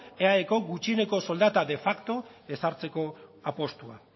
eaeko gutxieneko soldata de facto ezartzeko apustua